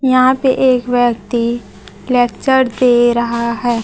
यहां पे एक व्यक्ती लेक्चर दे रहा है।